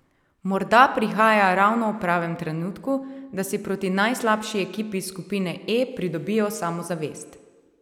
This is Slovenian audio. Morda prihaja ravno ob pravem trenutku, da si proti najslabši ekipi skupine E pridobijo samozavest.